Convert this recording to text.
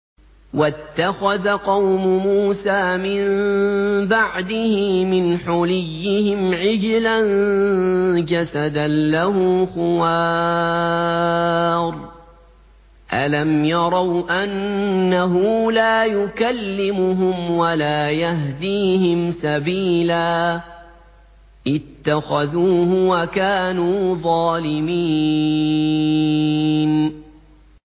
وَاتَّخَذَ قَوْمُ مُوسَىٰ مِن بَعْدِهِ مِنْ حُلِيِّهِمْ عِجْلًا جَسَدًا لَّهُ خُوَارٌ ۚ أَلَمْ يَرَوْا أَنَّهُ لَا يُكَلِّمُهُمْ وَلَا يَهْدِيهِمْ سَبِيلًا ۘ اتَّخَذُوهُ وَكَانُوا ظَالِمِينَ